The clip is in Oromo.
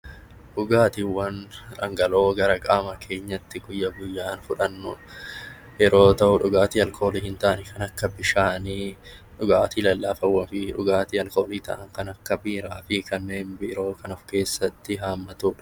Dhugaatiiwwan dhangala'oo gara qaama keenyatti guyya guyyaan fudhannu yeroo ta'u, dhugaatii alkoolii hin taane kan akka bishaanii, dhugaatii lallafoo fi dhugaatii alkoolii ta'an kan akka biiraa fibkanneen biroo kan of keessatti haammatudha.